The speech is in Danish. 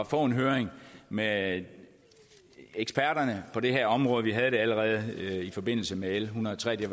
få en høring med eksperterne på det her område vi havde det allerede i forbindelse med l en hundrede og tre vi